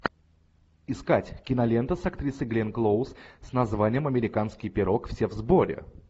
искать кинолента с актрисой гленн клоуз с названием американский пирог все в сборе